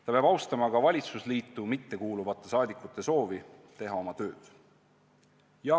Ta peab austama ka valitsusliitu mittekuuluvate saadikute soovi teha oma tööd.